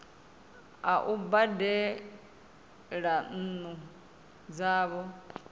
a u badela nnu dzavho